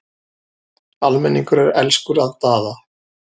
Almenningur er elskur að Daða.